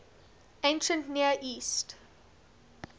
ancient near east